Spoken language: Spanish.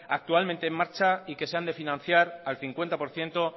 actualmente en marcha y que se han de financiar al cincuenta por ciento